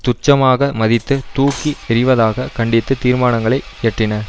துச்சமாக மதித்து தூக்கி எறிவதாக கண்டித்து தீர்மானங்களை இயற்றின